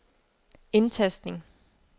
indtastning